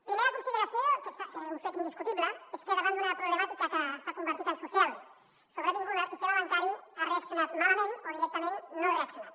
primera consideració que és un fet indiscutible és que da·vant d’una problemàtica que s’ha convertit en social sobrevinguda el sistema ban·cari ha reaccionat malament o directament no ha reaccionat